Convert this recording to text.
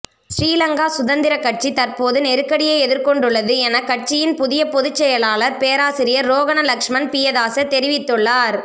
ஸ்ரீலங்கா சுதந்திரக்கட்சி தற்போது நெருக்கடியை எதிர்கொண்டுள்ளது என கட்சியின் புதிய பொதுச்செயலாளர் பேராசிரியர் ரோகன லக்ஸ்மன் பியதாச தெரிவித்துள்ளார்